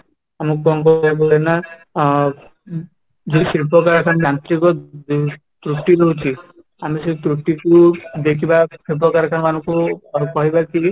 ଆମକୁ କ'ଣ କହିବାକୁ ପଡିବ ନା ଅ ଯୋଉ ଶିଳ୍ପକାରଖାନା ର ଯାନ୍ତ୍ରିକ ରେ ଯୋଉ ତ୍ରୁଟି ରହୁଛି ଆମେ ସେ ତ୍ରୁଟି କୁ ଦେଖିବା ଶିଳ୍ପକାରଖାନା ମାନଙ୍କୁ କହିବା କି